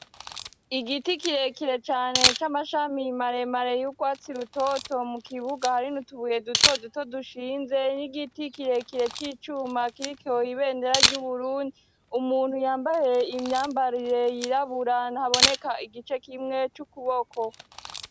Igiti kirekire cane cy'amashami maremare yugwatsi rutoto mu kibuga hari n'utubuye duto duto dushinze n'igiti kirekire c'icuma kiriko ibendera ry'uburundi umuntu yambaye imyambarire yirabura ntaboneka igice kimwe c'ukuboko.